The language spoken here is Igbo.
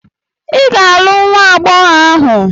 Ị ga-alụ nwa agbọghọ ahụ!